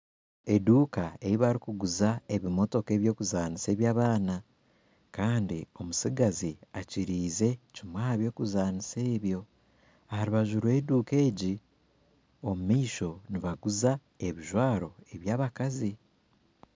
Eduuka eibarikuguriza ebimotoka ebyokuzanisa ebyabaana Kandi omutsigazi akiriize kimwe ahabyokuzanisa ebyo aharubaju rweduuka egi omumaisho nibaguza ebijwaro ebyabakazi